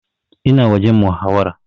Ina wajen muhawara